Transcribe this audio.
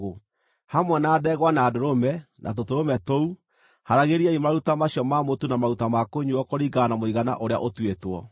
Hamwe na ndegwa na ndũrũme, na tũtũrũme tũu, haaragĩriai maruta macio ma mũtu na maruta ma kũnyuuo kũringana na mũigana ũrĩa ũtuĩtwo.